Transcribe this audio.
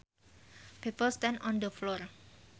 People stand on the floor